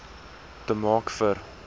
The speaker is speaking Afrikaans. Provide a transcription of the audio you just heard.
te maak vir